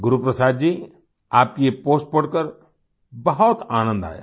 गुरुप्रसाद जी आपकी ये पोस्ट पढ़कर बहुत आनंद आया